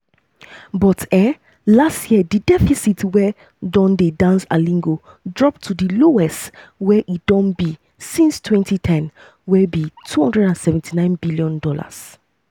but um last year di deficit wey don dey dance alingo drop to di lowest wey e don be since 2010 wey um be $279bn. be $279bn.